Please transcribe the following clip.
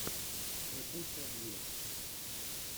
скрипучая дверь